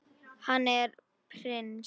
Hann er prins.